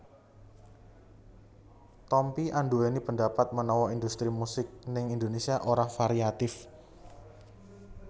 Tompi anduweni pandapat menawa industri musik ning Indonésia ora variatif